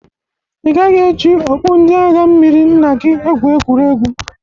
Ị gaghị e ji okpu ndị agha mmiri nna gi ekwu egwuregwu.